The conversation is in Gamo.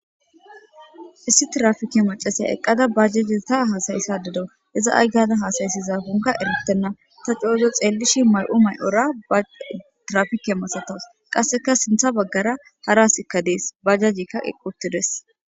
Issi trafike macasaya eqqada bajjaji ta haasayissa dedo iza aygada haasayssizagunka erittenna ta coozo xeellishi may'u may'ora ba trafike masatos qasseka sintha baggara harasikka dees bajajikka eqquttides.